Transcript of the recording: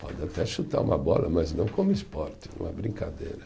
Pode até chutar uma bola, mas não como esporte, uma brincadeira.